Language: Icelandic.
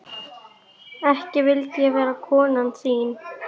Ekki vildi ég vera konan þín.